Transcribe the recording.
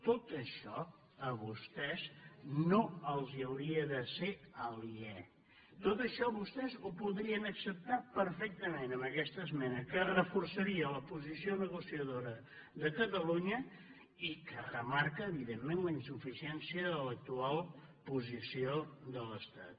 tot això a vostès no els hauria de ser aliè tot això vostès ho podrien acceptar perfectament amb aquesta esmena que reforçaria la posició negociadora de catalunya i que remarca evidentment la insuficiència de l’actual posició de l’estat